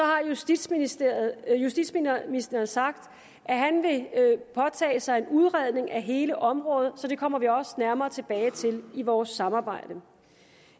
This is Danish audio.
har justitsministeren justitsministeren sagt at han vil påtage sig en udredning af hele området så det kommer vi også nærmere tilbage til i vores samarbejde